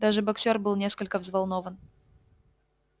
даже боксёр был несколько взволнован